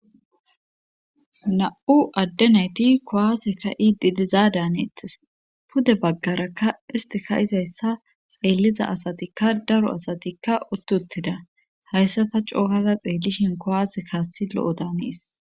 Na'u addenayti kowaasekka iididiza daaneetis pude baggarakka istika izayssa xeelliza asatikka daro asatikka uttutida hayssata cookaza xeellishin kowaase kaassi lo'o daanees.